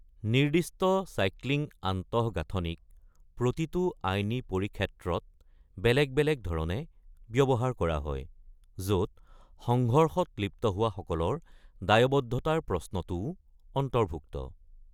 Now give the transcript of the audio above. নিৰ্দিষ্ট চাইক্লিং আন্তঃগাঁথনিক প্ৰতিটো আইনী পৰিক্ষেত্ৰত বেলেগ বেলেগ ধৰণে ব্যৱহাৰ কৰা হয়, য’ত সংঘৰ্ষত লিপ্ত হোৱাসকলোৰ দায়বদ্ধতাৰ প্ৰশ্নটোও অন্তৰ্ভুক্ত।